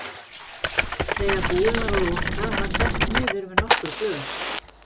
Þegar búið var að loka var sest niður með nokkur glös.